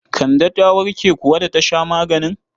Kande ta warke kuwa da ta sha maganin?